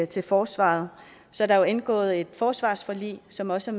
til forsvaret er der indgået et forsvarsforlig som også